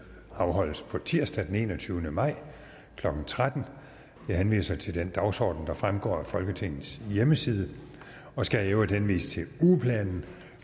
afholdes på tirsdag den enogtyvende maj klokken tretten jeg henviser til den dagsorden der fremgår af folketingets hjemmeside jeg skal i øvrigt henvise til ugeplanen